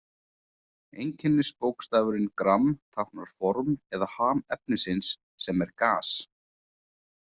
Einkennisbókstafurinn gramm táknar form eða ham efnisins, sem er gas.